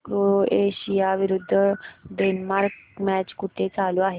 Croatia विरुद्ध Denmark match कुठे चालू आहे